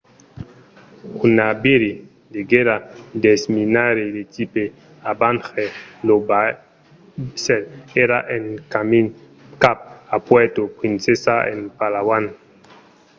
un naviri de guèrra desminaire de tipe avenger lo vaissèl èra en camin cap a puerto princesa en palawan